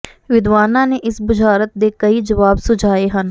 ਵਿਦਵਾਨਾਂ ਨੇ ਇਸ ਬੁਝਾਰਤ ਦੇ ਕਈ ਜਵਾਬ ਸੁਝਾਏ ਹਨ